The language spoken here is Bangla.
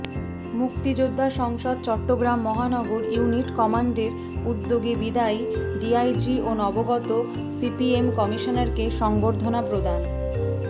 মুক্তিযোদ্ধা সংসদ চট্টগ্রাম মহানগর ইউনিট কমান্ডের উদ্যোগে বিদায়ী ডিআইজি ও নবাগত সিএমপি কমিশনারকে সংবর্ধনা প্রদান